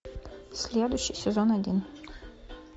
следующий сезон один